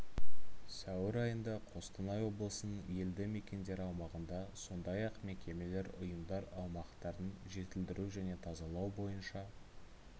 сәуір айында қостанай облысының елді мекендер аумағында сондай ақ мекемелер ұйымдар аумақтарын жетілдіру және тазалау бойынша